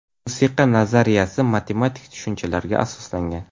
Musiqa nazariyasi matematik tushunchalarga asoslangan.